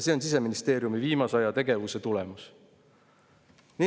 See on Siseministeeriumi viimase aja tegevuse tulemus.